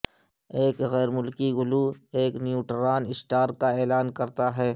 ایک غیر ملکی گلو ایک نیوٹران سٹار کا اعلان کرتا ہے